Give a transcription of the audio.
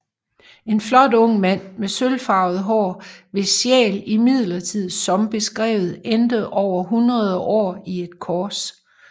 En flot ung mand med sølvfarvet hår hvis sjæl imidlertid som beskrevet endte over hundrede år i et kors